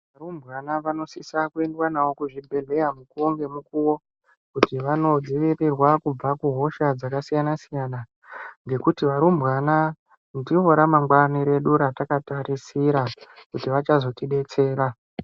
Varumbwana vanosisa kuendwa navo kuzvibhedhlera mukuwo ngemukuwo kuti vanodzivirirwa kubva kuhosha dzakasiyana siyana ngekuti varumbwana ndivo ramangwani redu ratakatarisira kuti vachazotibetsera.